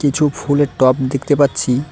কিছু ফুলের টব দেখতে পাচ্ছি।